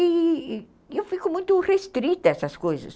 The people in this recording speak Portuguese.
E e eu fico muito restrita a essas coisas.